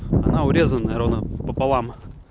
она урезаная ровно пополам